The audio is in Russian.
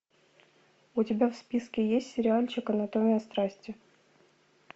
у тебя в списке есть сериальчик анатомия страсти